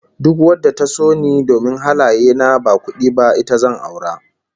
Duk wadda ta so ni domin halaye na ba kudi ba, ita zan aura